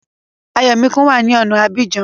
Ayọ̀míkún wá ní ọ̀na Abidjan